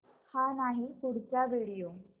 हा नाही पुढचा व्हिडिओ